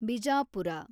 Bijapur